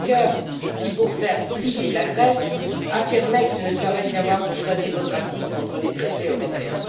Junker qui, pour faire plier la Grèce, affirmait qu'il ne saurait y avoir de choix démocratique contre les traités européens?